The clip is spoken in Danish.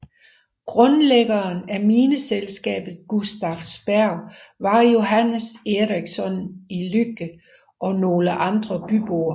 Grundlæggeren af mineselskabet Gustafsberg var Johannes Ericsson i Lycke og nogle andre byboer